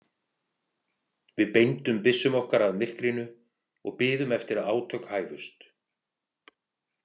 Við beindum byssum okkar að myrkrinu og biðum eftir að átök hæfust.